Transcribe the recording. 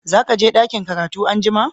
Za ka je dakin karatu an'jumma?